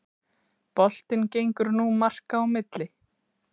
Boltinn gengur nú marka á milli